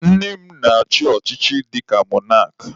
Nne m na-achị ọchịchị dịka mọnak.